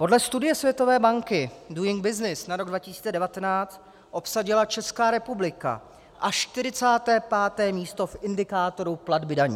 Podle studie Světové banky Doing Business na rok 2019 obsadila Česká republika až 45. místo v indikátoru platby daní.